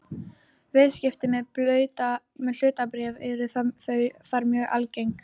Viðskipti með hlutabréf eru þar mjög algeng.